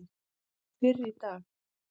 fyrr í dag.